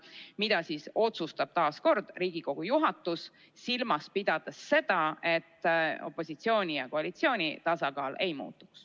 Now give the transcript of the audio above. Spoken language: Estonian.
Seda otsustab taas Riigikogu juhatus, silmas pidades seda, et opositsiooni ja koalitsiooni tasakaal ei muutuks.